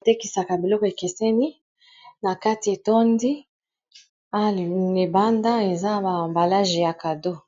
Batekisaka biloko ekeseni na kati etondi alibanda eza ba ambalage ya cadeau